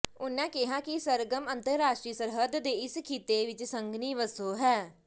ਉਨ੍ਹਾਂ ਕਿਹਾ ਕਿ ਸਰਗਰਮ ਅੰਤਰਾਸ਼ਟਰੀ ਸਰਹੱਦ ਦੇ ਇਸ ਖਿੱਤੇ ਵਿਚ ਸੰਘਣੀ ਵਸੋ ਹੈ